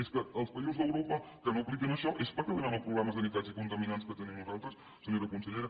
és que els països d’europa que no apliquen això és perquè no tenen els problemes de nitrats i contaminants que tenim nosaltres senyora consellera